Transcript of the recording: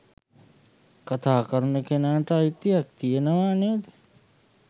කතා කරන කෙනාට අයිතියක් තියෙනවා නේද?